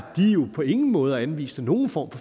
de på ingen måde anviste nogen form